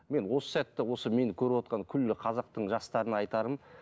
мен осы сәтті осы мені көріп отырған күллі қазақтың жастарына айтарым